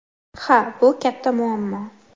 – Ha, bu katta muammo.